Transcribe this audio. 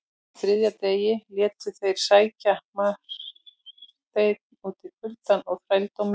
Á þriðja degi létu þeir sækja Marteinn út í kuldann og þrældóminn.